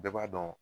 Bɛɛ b'a dɔn